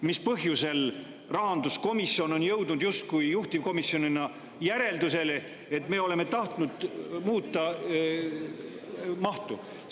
Mis põhjusel rahanduskomisjon on jõudnud juhtivkomisjonina järeldusele, et me oleme tahtnud muuta mahtu?